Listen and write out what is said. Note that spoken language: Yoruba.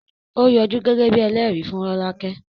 Ó yọjú gẹ́gẹ́ bíi ẹlẹ́rìí fún Rolake